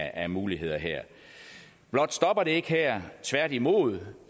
af muligheder her blot stopper det ikke her tværtimod